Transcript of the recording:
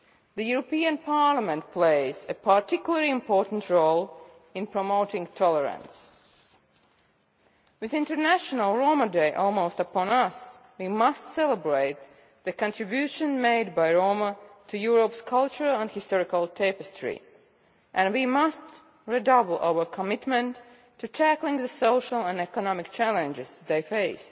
The European Parliament plays a particularly important role in promoting tolerance. With International Roma Day almost upon us, we must celebrate the contribution made by Roma to Europe's cultural and historical tapestry, and we must redouble our commitment to tackling the social and economic challenges they face.